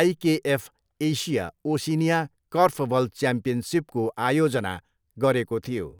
IKF Asia Oceania korfball च्याम्पियनसिपको आयोजना गरेको थियो।